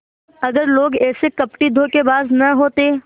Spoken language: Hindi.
अगर लोग ऐसे कपटीधोखेबाज न होते